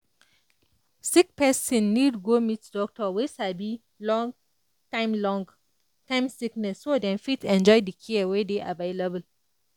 sick person need go meet doctor wey sabi long-time long-time sickness so dem fit enjoy the care wey dey available.